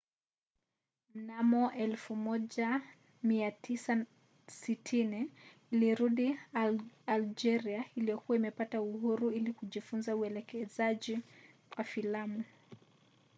mnamo 1960 alirudi algeria iliyokuwa imepata uhuru ili kufunza uelekezaji wa filamu